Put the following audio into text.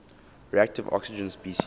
reactive oxygen species